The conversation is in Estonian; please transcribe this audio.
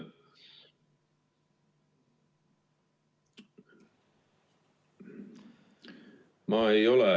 Ma ei ole ...